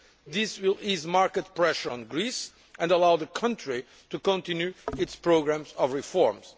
This will ease market pressure on Greece and allow the country to continue its programmes of reforms.